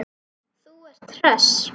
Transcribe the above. Og hvaða menn sendi ég?